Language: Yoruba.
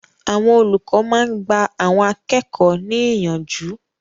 Àwọn olùkọ́ máa ń gba àwọn akẹ́kọ̀ọ́ ní ìyànjú.